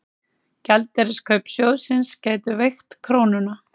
Gjaldeyriskaup sjóðsins gætu veikt krónuna